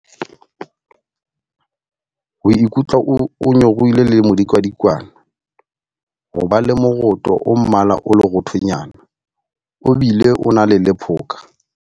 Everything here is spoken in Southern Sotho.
Ho ikutlwa o nyorilwe le modikadikwane. Ho ba le moroto o mmala o leroothonyana, o bile o na le lephoka.